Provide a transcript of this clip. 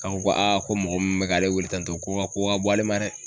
K'an ko ko mɔgɔ min bɛ k'ale weele tantɔ k'o ka ko ka bon ale ma dɛ.